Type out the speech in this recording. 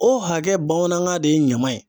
O hakɛ bamanankan de ye ɲama ye.